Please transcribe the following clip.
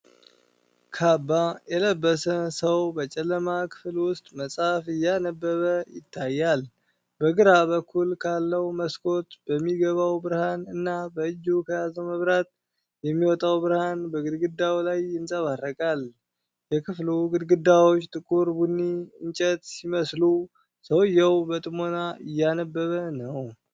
ካባ የለበሰ ሰው በጨለማ ክፍል ውስጥ መጽሐፍ እያነበበ ይታያል። በግራ በኩል ካለው መስኮት በሚገባው ብርሃን እና በእጁ ከያዘው መብራት የሚወጣው ብርሃን በግድግዳው ላይ ይንጸባረቃል። የክፍሉ ግድግዳዎች ጥቁር ቡኒ እንጨት ሲመስሉ፣ ሰውየው በጥሞና እያነበበ ነው።